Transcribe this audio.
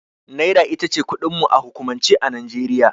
Naira itace kudin mu a hukumance a Nijeriya